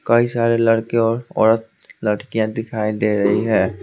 कई सारे लड़के और औरत लड़कियां दिखाई दे रही है।